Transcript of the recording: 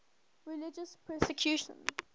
religious persecution